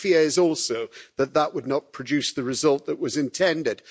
But my fear is also that that would not produce the result that was intended.